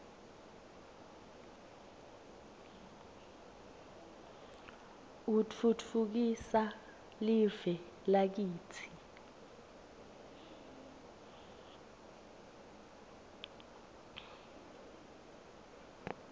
utfutfukisa live lakitsi